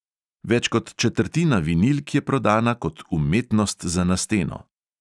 Več kot četrtina vinilk je prodana kot umetnost za na steno.